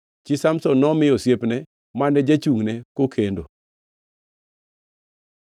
Chi Samson nomi osiepne mane jachungʼne kokendo.